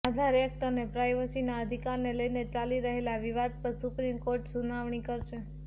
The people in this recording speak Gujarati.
આધાર એક્ટ અને પ્રાઇવસીના અધિકારને લઇને ચાલી રહેલા વિવાદ પર સુપ્રીમ કોર્ટ સુનાવણી કરશે